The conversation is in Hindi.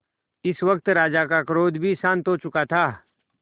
इस वक्त राजा का क्रोध भी शांत हो चुका था